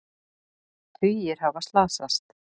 Tugir hafa slasast